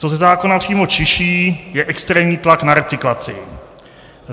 Co ze zákona přímo čiší, je extrémní tlak na recyklaci.